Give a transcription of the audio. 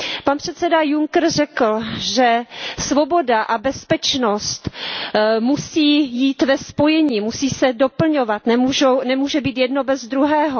Pan předseda Juncker řekl, že svoboda a bezpečnost musí jít ve spojení, musí se doplňovat, nemůže být jedno bez druhého.